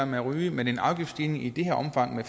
med at ryge men en afgiftsstigning i det omfang